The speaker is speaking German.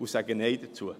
Wir sagen Nein dazu.